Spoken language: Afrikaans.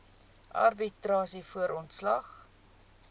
arbitrasie voor ontslag